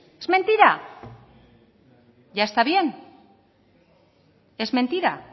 es mentira ya está bien es mentira